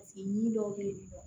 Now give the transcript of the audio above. ɲin dɔw bɛ yen